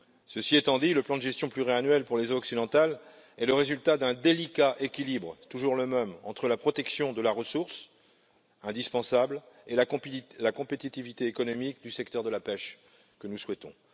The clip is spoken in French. Ceci étant dit, le plan de gestion pluriannuel pour les eaux occidentales est le résultat d'un délicat équilibre, toujours le même, entre la protection de la ressource, indispensable, et la compétitivité économique du secteur de la pêche, que nous souhaitons.